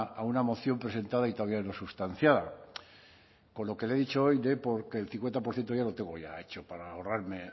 una a una moción presentada y todavía no sustanciada con lo que le he dicho hoy dé por que el cincuenta por ciento ya lo tengo ya hecho para ahorrarme